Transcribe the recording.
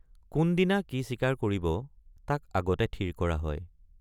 কোনদিনা কি চিকাৰ কৰিব তাক আগতে থিৰ কৰা হয়।